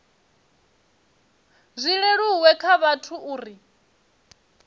zwi leluwe kha vhathu uri